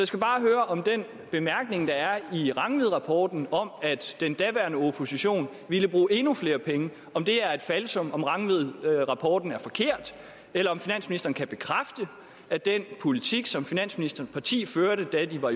skal bare høre om den bemærkning der er i rangvidrapporten om at den daværende opposition ville bruge endnu flere penge er et falsum og om rangvidrapporten er forkert eller om finansministeren kan bekræfte at den politik som finansministerens parti førte da de var